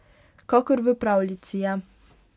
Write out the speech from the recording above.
Kakor v pravljici je.